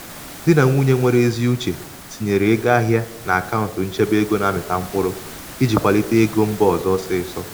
di na nwunye nwere ezi uche tinyere ego ahịa n'akaụntụ n'akaụntụ nchebe ego na-amịta mkpụrụ iji kwalite ego mba ọzọ ọsịịsọ.